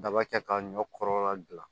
Daba kɛ ka ɲɔ kɔrɔla gilan